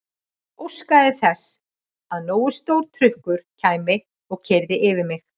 Óskaði þess að nógu stór trukkur kæmi og keyrði yfir mig.